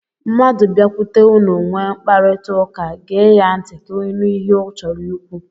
Mmadụ biakwute unu nwee mkparịtaụka, gee ya ntị ka ị nụ ihe ọ chọrọ ikwu.